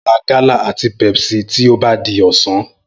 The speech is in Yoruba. N óò ra gálà àti Pepsi bí ó bá di ọ̀sán